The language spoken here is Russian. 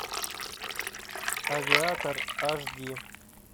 авиатор аш ди